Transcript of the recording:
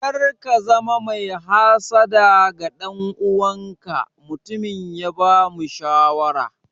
Kar ka zama mai hassada ga ɗan uwanka, mutumin ya bamu shawara.